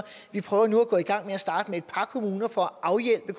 vi prøver nu at gå i gang med at starte med et par kommuner for at afhjælpe det